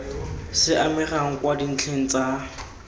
se amegang kwa dintlheng tsa